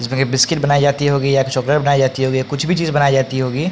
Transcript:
जिसमें की बिस्किट बनाई जाती होगी या तो चॉकलेट बनाई जाती होगी या कुछ भी चीज बनाई जाती होगी।